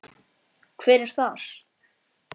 Hver er þar?